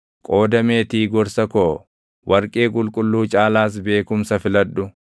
Qooda meetii gorsa koo, warqee qulqulluu caalaas beekumsa filadhu;